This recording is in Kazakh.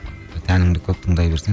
тәніңді көп тыңдай берсең